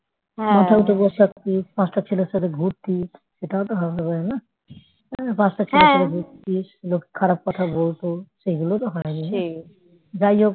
মাথায় উঠে বসে থাকতি পাঁচটা ছেলের সাথে ঘুরতি সেটাও তো হবে হয় না এই পাঁচটা ছেলের সাথে ঘুরতিস লোক খারাপ কথা বলতো সেইগুলো তো হয়নি না যাই হোক